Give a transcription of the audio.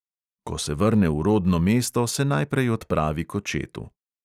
Ko se vrne v rodno mesto, se najprej odpravi k očetu.